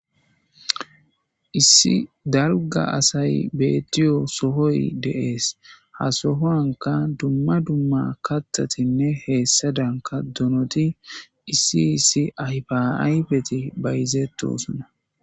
issi darga asay bettiyo sohoy deees ha sohoanka dumma dumma katatinne heessadanka donoti issi issi ayfaaybeti bayzetto suna